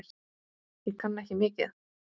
Ég kann ekki mikið.